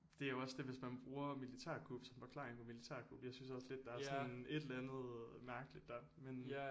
Det er jo også det hvis man bruger militærkup som forklaring på militærkup jeg synes også lidt der er sådan en et eller andet mærkeligt der men